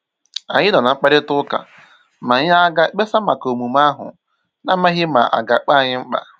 Ànyị nọ̀ ná mkpàrịtà ụ́ka ma anyị aga ekpesa maka omume ahu, n'amsghi ma aga akpọ anyi mkpa